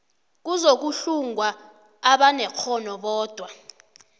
kuzokuhlungwa abanekghono bodwa